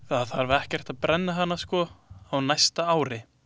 Það þarf ekkert að brenna hana sko á næsta ári.